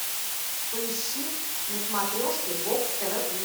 поищи на смотрешке бокс тв плюс